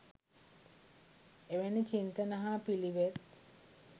එවැනි චින්තන හා පිළිවෙත්